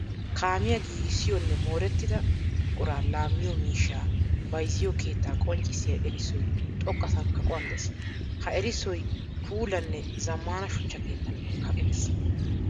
Kaamiya giigissiyonne moorettida buqura laamiyo miishsha bayzziyo keetta qonccissiya erissoy xoqqasan kaqquwan de'ees. Ha erissoy puulane zamaana shuchcha keettan kaqqettiis.